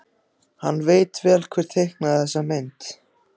Hann veit vel hver teiknaði þessa mynd.